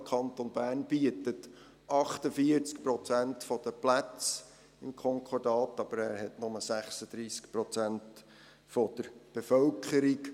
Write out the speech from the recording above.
Der Kanton Bern bietet 48 Prozent der Plätze im Konkordat an, aber er hat nur 36 Prozent der Bevölkerung.